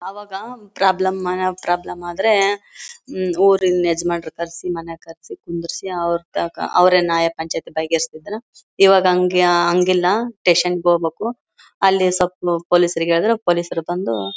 ಅವಾಗ ಪ್ರಾಬ್ಲಮ್ ಮನ ಪ್ರಾಬ್ಲಮ್ ಆದ್ರೆ ಹ್ ಊರಿನ ಯಜಮಾನ್ರನ್ನ ಕರ್ಸಿ ಮನೆಗೆ ಕರ್ಸಿ ಕುಂದರ್ಸಿ ಅವರ್ ತಾಕಾ ಅವರೇ ನ್ಯಾಯ ಪಂಚಾಯಿತಿ ಬಗೆ ಹರಿಸ್ತಿದ್ರು ಇವಾಗ ಹಗ್ ಹಂಗ್ ಇಲ್ಲ ಸ್ಟೇಷನ್ ಗೆ ಹೋಗ್ಬೇಕು ಅಲ್ಲಿ ಪೊಲೀಸ್ ಅವರಿಗೆ ಹೇಳಿದ್ರೆ ಪೊಲೀಸ್ ಅವರು ಬಂದು--